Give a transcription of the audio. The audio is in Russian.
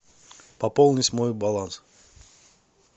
пополнить мой баланс